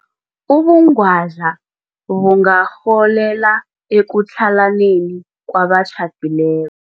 Ubungwadla bungarholela ekutlhalaneni kwabatjhadileko.